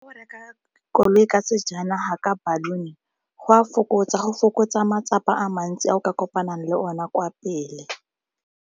Go reka koloi ka sejanaga ka baruni go a fokotsa, go fokotsa matsapa a mantsi a o ka kopanang le one kwa pele.